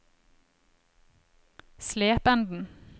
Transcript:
Slependen